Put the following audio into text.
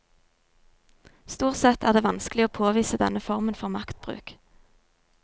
Stort sett er det vanskelig å påvise denne formen for maktbruk.